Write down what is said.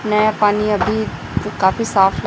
नया पानी अभी काफी सा--